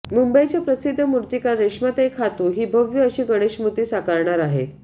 मुंबईच्या प्रसिद्ध मुर्तीकार रेश्माताई खातू हि भव्य अशी गणेशमुर्ती साकारणार आहेत